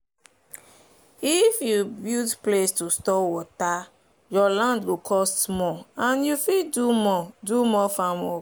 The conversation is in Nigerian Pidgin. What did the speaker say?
if you build place to store water your land go cost more and you fit do more do more farm work.